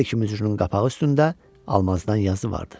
Hər iki mücrünün qapağı üstündə almazdan yazı vardı.